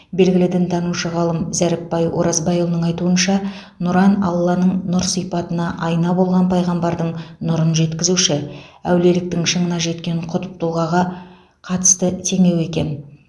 белгілі дінтанушы ғалым зәріпбай оразбайұлының айтуынша нұран алланың нұр сипатына айна болған пайғамбардың нұрын жеткізуші әулиеліктің шыңына жеткен құтб тұлғаға қатысты теңеу екен